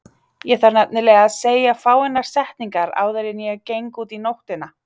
Ég þarf nefnilega að segja fáeinar setningar áður en ég geng út í nóttina.